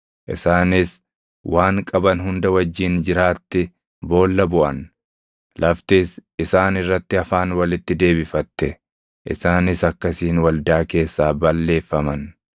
Isaanis waan qaban hunda wajjin jiraatti boolla buʼan; laftis isaan irratti afaan walitti deebifatte; isaanis akkasiin waldaa keessaa balleeffaman.